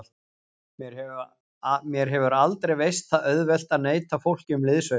Mér hefur aldrei veist það auðvelt að neita fólki um liðsauka.